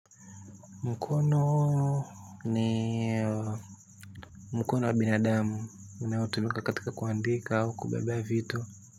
Mkono ni mkono wa binadamu unoatumika katika kuandika wa kubebea vitu.